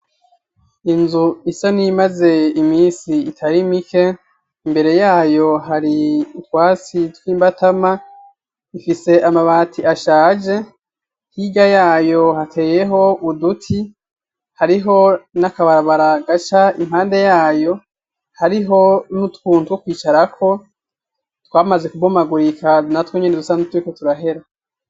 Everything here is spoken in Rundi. Inzu isa niyimaze imisi itari mike imbere yayo hari utwasi tw'imbatama ifise amabati ashaje, hirya yayo hateyeho uduti hariho n'akabarabara gaca impande yayo, hariho n'utuntu two kwicarako twamaze kubomagurika kandi natwe nyene dusa nkuturiko turahera.